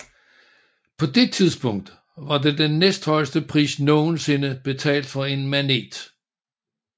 På det tidspunkt var det den næsthøjeste pris nogensinde betalt for en Manet